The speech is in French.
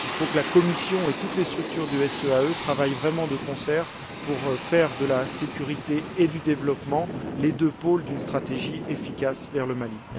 Il faut que la Commission et toutes les structures du SEAE travaillent vraiment de concert pour faire de la sécurité et du développement les deux pôles d'une stratégie efficace à l'égard du Mali.